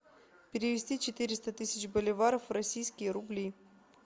перевести четыреста тысяч боливаров в российские рубли